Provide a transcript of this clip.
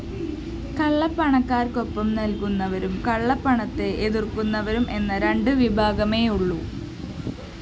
കള്ളപ്പണക്കാര്‍ക്കൊപ്പം നില്‍ക്കുന്നവരും കള്ളപ്പണത്തെ എതിര്‍ക്കുന്നവരും എന്ന രണ്ട് വിഭാഗമേയുള്ളൂ